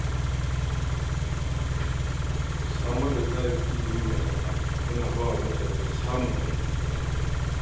Samar da tsarin ilimi mai araha yana ba wa mutane damar samun aikin da ya dace.